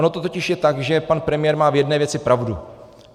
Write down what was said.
Ono to totiž je tak, že pan premiér má v jedné věci pravdu.